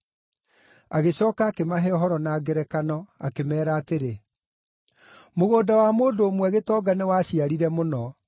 Agĩcooka akĩmahe ũhoro na ngerekano, akĩmeera atĩrĩ, “Mũgũnda wa mũndũ ũmwe gĩtonga nĩwaciarire mũno.